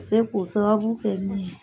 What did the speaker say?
se ko sababu kɛ min ye.